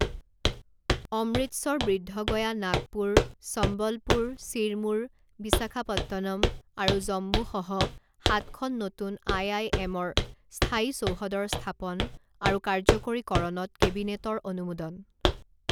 অমৃতচৰ বৃদ্ধগয়া নাগপুৰ সম্বলপুৰ ছিৰমুৰ বিশাখাপট্টনম আৰু জম্মুসহ সাতখন নতুন আই আই এমৰ স্থায়ী চৌহদৰ স্থাপন আৰু কাৰ্যকৰীকৰণত কেবিনেটৰ অনুমোদন